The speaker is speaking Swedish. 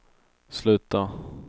sluta